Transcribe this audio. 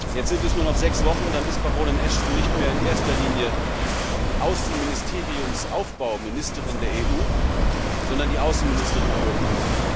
Jetzt sind es nur noch sechs Wochen, dann ist Baroness Ashton nicht mehr in erster Linie die Außenministeriumsaufbauministerin der EU, sondern die Außenministerin Europas.